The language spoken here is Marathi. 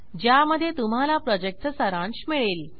ज्यामध्ये तुम्हाला प्रॉजेक्टचा सारांश मिळेल